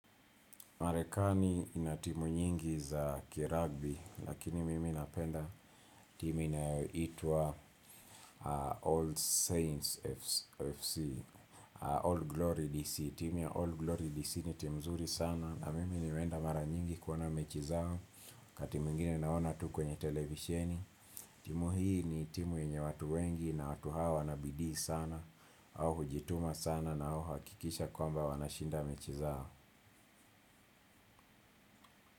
Marekani inatimu nyingi za kiragbi lakini mimi napenda timu inayoitwa All Saints FC, All Glory DC, timu ya All Glory DC ni timu nzuri sana na mimi nimeenda mara nyingi kuona mechi zao wakati mwingine naona tu kwenye televisheni, timu hii ni timu yenye watu wengi na watu hawa wanabidii sana au hujituma sana na huhakikisha kwamba wanashinda mechi zao.